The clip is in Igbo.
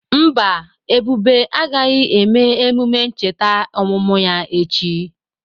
Mba, Ebube agaghị eme emume ncheta ọmụmụ ya echi.